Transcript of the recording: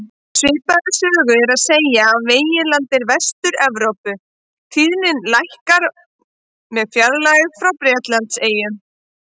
Svipaða sögu er að segja af meginlandi Vestur-Evrópu, tíðnin lækkar með fjarlægð frá Bretlandseyjum.